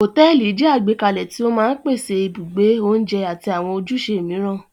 Hòtẹ́ẹ́lì jẹ́ àgbékalẹ̀ tí ó máa ń pèsè ibùgbé, oúnjẹ àti àwọn ojúṣe mìíràn.